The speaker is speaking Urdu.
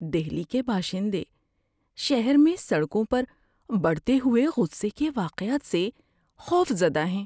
دہلی کے باشندے شہر میں سڑکوں پر بڑھتے ہوئے غصے کے واقعات سے خوف زدہ ہیں۔